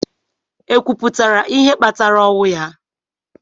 Ekwuputara ihe kpatara ọnwụ ya?